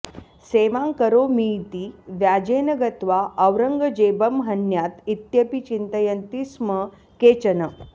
सेवां करोमीति व्याजेन गत्वा औरंगजेबं ह्न्यात् इत्यपि चिन्तयन्ति स्म केचन